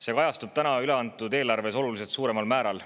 See kajastub täna üle antud eelarves oluliselt suuremal määral.